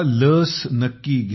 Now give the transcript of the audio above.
लस नक्की घ्या